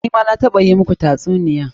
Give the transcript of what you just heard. Ni ma na taɓa yi muku tatsuniya.